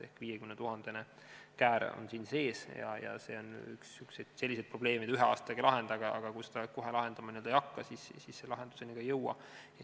Ehk 50 000-sed käärid on siin sees ja see on üks selliseid probleeme, mida ühe aastaga ei lahenda, aga kui seda kohe lahendama ei hakka, siis lahenduseni ka ei jõua.